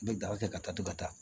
N bɛ daga kɛ ka taa to ka taa